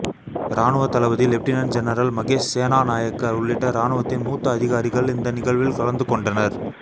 இராணுவ தளபதி lieutenant general Mahesh Senanayake உள்ளிட்ட இராணுவத்தின் மூத்த அதிகாரிகள் இந்த நிகழ்வில் கலந்து கொண்டனர்